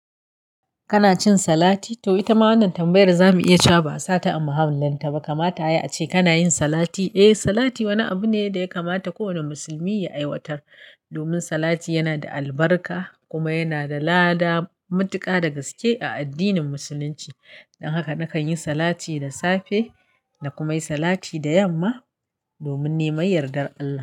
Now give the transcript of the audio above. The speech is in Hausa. Kana cin salati? To ita ma wannan tambayar za mu iya cawa ba'a sata a mahallin taɓa kamata ya a ce kana yin salati. Eh, salati wani abu ne da ya kamata kowane musulmi ya aiwatar, domin salati yana da albarka kuma yana da lada matuƙa da gaske a addinin musulunci. Don haka nakan yi salati da safe na kuma yi salati da yamma domin neman yardar Allah.